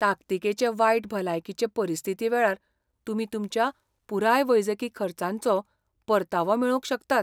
ताकतीकेचे वायट भलायकीचे परिस्थितीवेळार, तुमी तुमच्या पुराय वैजकी खर्चांचो परतावो मेळोवंक शकतात.